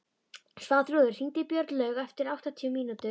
Svanþrúður, hringdu í Björnlaugu eftir áttatíu mínútur.